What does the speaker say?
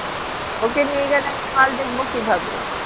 ওকে নিয়ে গেলে আমি মাল দেখবো কিভাবে